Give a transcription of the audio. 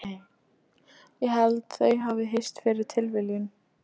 Ég held þau hafi hist fyrir tilviljun.